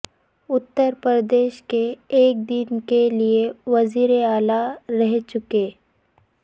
اتر پردیش کے ایک دن کے لئے وزیر اعلی رہ چکے